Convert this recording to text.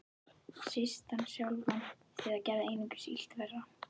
Síst hann sjálfan, því það gerði einungis illt verra.